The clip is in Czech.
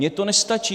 Mně to nestačí!